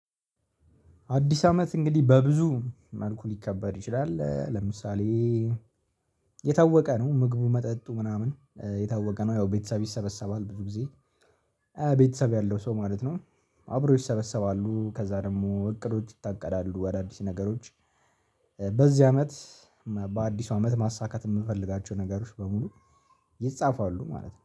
አዲስ አመት እንግዲህ በብዙ መልኩ ሊከበር ይችላል። ለምሳሌ የታወቀ ነው ምግቡ መጠጡ ምናምን የታወቀ ነው። ያው ቤተሰብ ይሰበሰባል ብዙ ጊዜ። ቤተሰብ ያለው ሰው ማለት ነው። አብሮ ይሰበሰባሉ ከዛ ደግሞ እቅዶች ይታቀዳሉ። አዳዲስ ነገሮች በዚህ አመት በአዲሱ አመት ማሳካት የምፈልጋቸው ነገሮች በሙሉ ይጻፋሉ ማለት ነው